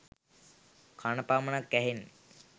කණ පමණක් ඇහෙන